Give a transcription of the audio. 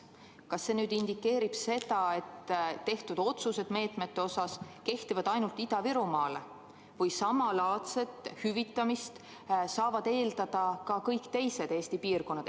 Kas see nüüd indikeerib seda, et tehtud otsused meetmete kohta kehtivad ainult Ida-Virumaale või samalaadset hüvitamist saavad eeldada ka kõik teised Eesti piirkonnad?